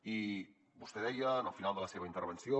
i vostè deia en el final de la seva intervenció